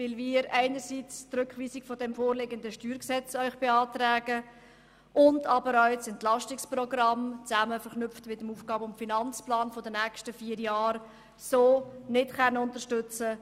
Wir beantragen Ihnen einerseits die Rückweisung der vorliegenden StG-Revision, aber auch das EP in Verknüpfung mit dem AFP für die nächsten vier Jahre können wir so nicht unterstützen.